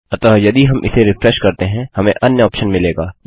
अतः यदि हम इस रिफ्रेश करते हैं हमें अन्य ऑप्शन मिलेगा